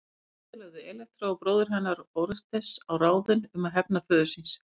Síðar lögðu Elektra og bróðir hennar Órestes á ráðin um að hefna föður síns.